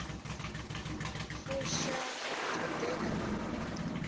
fusha t hod ea na